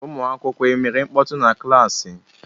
ụmụakwụkwọ emere mkpọtụ na klassi?